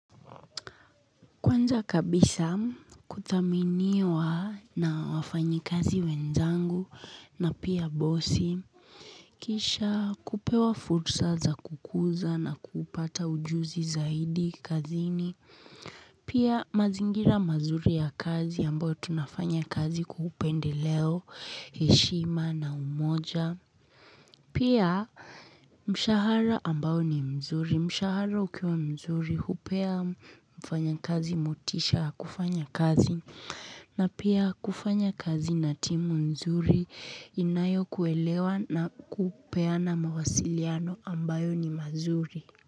Kwanza kabisa kuthaminiwa na wafanyikazi wenzangu na pia bosi. Kisha kupewa fursa za kukuza na kupata ujuzi zaidi kazini. Pia mazingira mazuri ya kazi ambayo tunafanya kazi kwa upendeleo, heshima na umoja. Pia mshahara ambao ni mzuri. Mshahara ukiwa mzuri hupea mfanyakazi motisha ya kufanya kazi na pia kufanya kazi na timu nzuri inayokuelewa na kupeana mawasiliano ambayo ni mazuri.